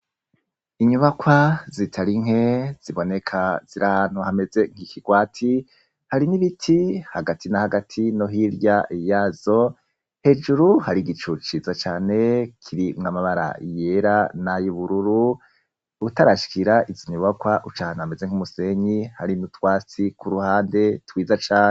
Inyubakwa zitari nke ziboneka, ziri ahantu hameze nk'ikigwati. Hari n'ibiti hagati na hagati no hirya yazo. Hejuru hari igicu ciza cane kirimwo amabara yera n'ayo ubururu. Utarashikira izo nyubakwa uca uhameze nk'umusenyi, hari n'utwatsi kuruhande twiza cane.